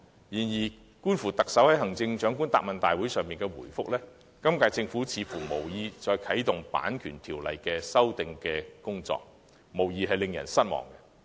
然而，觀乎特首在行政長官答問會上的答覆，今屆政府似乎無意再啟動《版權條例》的修訂工作，這未免令人失望。